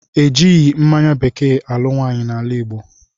E jighi mmanya bekee alụ nwaanyị n'ala Igbo